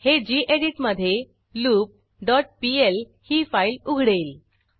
हे गेडीत मधे लूप डॉट पीएल ही फाईल उघडेल